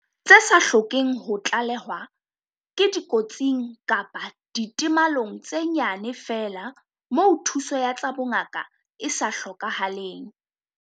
Tse sa hlokeng ho tlalehwa ke dikotsing kapa ditemalong tse nyane feela moo thuso ya tsa bongaka e sa hlokahaleng.